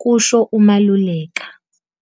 kusho uMaluleka.